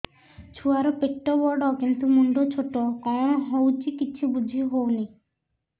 ଛୁଆର ପେଟବଡ଼ କିନ୍ତୁ ମୁଣ୍ଡ ଛୋଟ କଣ ହଉଚି କିଛି ଵୁଝିହୋଉନି